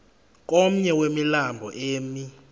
komnye wemilambo emi